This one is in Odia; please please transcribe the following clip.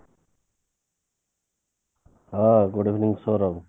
ହଁ good evening